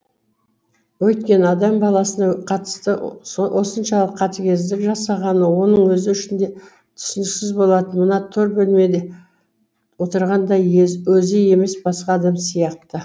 өйткені адам баласына қатысты осыншалық қатыгездік жасағаны оның өзі үшін де түсініксіз болатын мына тор бөлмеде отырған да өзі емес басқа адам сияқты